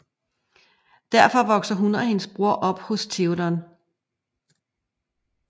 Derfor vokser hun og hendes bror op hos Théoden